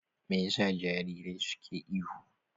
Me yasa jarirai suke ihu?